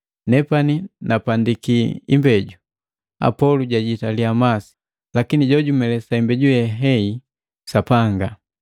Nepani napandiki imbeju, Apolo jajitaliya masi, lakini jojamelisa imbeji Sapanga.